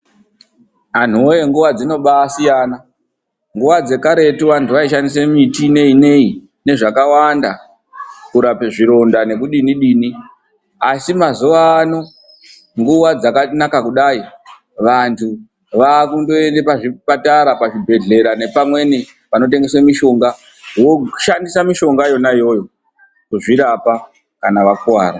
Anhuwe nguwa dzinombaasiyana. nguwa dzekaretu antu aishandisa miti nei nei nezvakawanda kurapa zvironda nekudinidini, asi mazuwa ano nguwa dzakanaka kudai vantu vakungoenda pazvibhehlera nepamweni panotengeswa mishonga voshandisa mishonga yona iyoyo kuzvirapa kana vakuwara.